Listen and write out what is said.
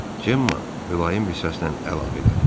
Cemma mülayim bir səslə əlavə elədi: